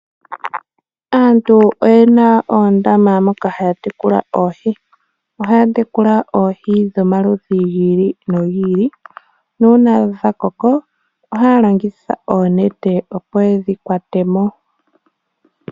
Aantu oyena oondama moka haya tekula oohi, ohaya tekula oohi dhomaludhi gi ili nogi ili nuuna dhakoko ohaalongitha oonete opo yedhi kwate mo.